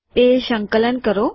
તે સંકલન કરો